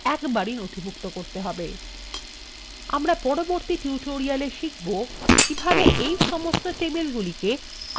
আমরা পরবর্তী tutorial শিখবো কিভাবে এই সমস্ত টেবিলগুলিকে আবার books table সাথে সংযুক্ত করা যেতে পারে